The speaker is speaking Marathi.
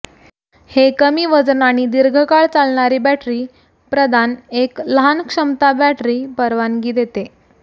हे कमी वजन आणि दीर्घकाळ चालणारी बॅटरी प्रदान एक लहान क्षमता बॅटरी परवानगी देते